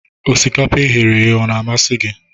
Osikapa e ghere eghe ọ na-amasị gị?